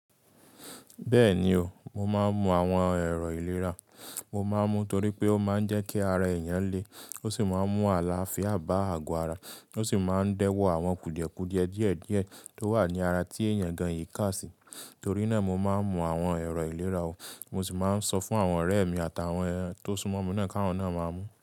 Bẹ́ẹ̀ni o, mo máa ń mu àwọn ẹ̀rọ ìlera. Mo máa ń mu torí pé ó máa ń jẹ́ kí ara èèyàn le, ó sì máa ń mú àlàáfíà bá àgọ ara, ó sì máa ń dẹ́wọ̀ àwọn kùdìẹ̀kùdìẹ̀ díẹ̀díẹ̀ tó wà ní ara tí èèyàn gan yìí ká sí. Torí náà mo máa ń mu àwọn ẹ̀rọ ìlera o. Mo sì máa ń sọ fún àwọn ọ̀rẹ́ mi àtàwọn tó súnmọ́ mi náà kí wọ́n náà máa mu.